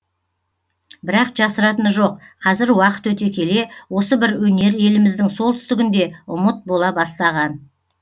бірақ жасыратыны жоқ қазір уақыт өте келе осы бір өнер еліміздің солтүстігінде ұмыт бола бастаған